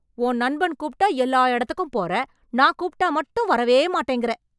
உன் நண்பன் கூப்ட்டா எல்லா எடத்துக்கும் போறே... நான் கூப்ட்டா மட்டும் வரவேமாட்டேங்கறே...